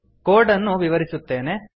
code ಅನ್ನು ವಿವರಿಸುತ್ತೇನೆ